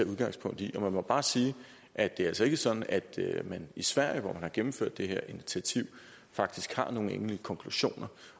udgangspunkt i man må bare sige at det er altså ikke sådan at man i sverige hvor man har gennemført det her initiativ faktisk har nogle endelige konklusioner